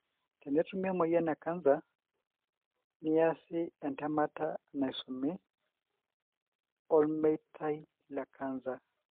Tenetumi emoyian ekancer, niasi entemata naisumi olmeitai le-cancer